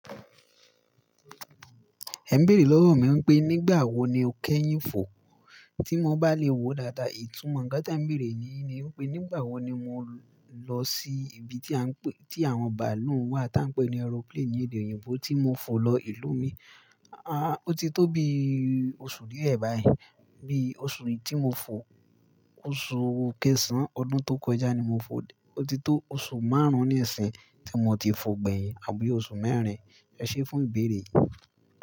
Ẹn bèrè lọ́wọ́ mi pé nígbà wo ni o kẹ́yìn fò? Tí mo bá lè wòó dáadáa, ìtumọ̀ nkán té n béèrè nihin ni wípé nígbà wo ni mo lọ sí ibi tí à ń pè, tí àwọn bàálù ń wà tá ń pè ní aeroplane ní èdè òyìnbó tí mo fò lọ ìlú mi. Àá o ti tó bí oṣù díẹ̀ báyìí. Bí i oṣù mejí mo fò, oṣù kẹsàn án ọdún tó kọjá ni mo fò. O ti tó oṣù márùn ún nísínyi tí mo ti fò gbẹ̀yìn àbí i oṣù mẹ́rin. Ecs fún ìbéèrè yìí.